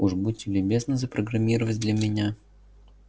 уж будьте любезны запрограммировать для меня